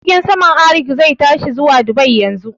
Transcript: Jirgin saman Arik zai tashi zuwa Dubai yanzu